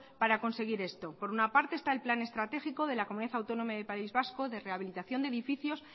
para conseguir esto por una parte está el plan estratégico de la comunidad autónoma del país vasco de rehabilitación de edificios